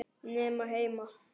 Nema heima.